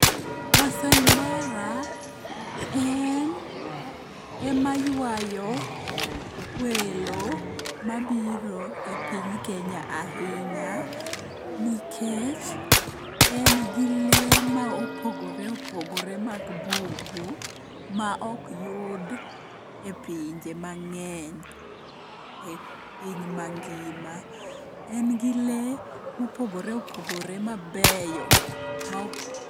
Maasai mara en emaywayo welo mabiro e piny Kenya ahinya nikech en gi lee ma opogore opogore mag bungu maokyud e pinje mang'eny e piny mangima. En gi lee mopogore opogore mabeyo ma..